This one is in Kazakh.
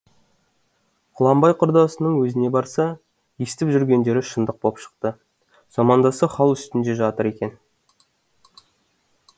құланбай құрдасының өзіне барса естіп жүргендері шындық боп шықты замандасы хал үстінде жатыр екен